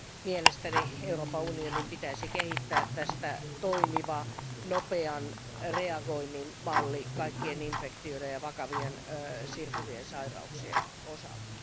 Mielestäni Euroopan Unionin pitäisi kehittää tästä toimiva nopean reagoinnin malli kaikkien infektioiden ja vakavien tarttuvien sairauksien osalta.